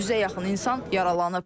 100-ə yaxın insan yaralanıb.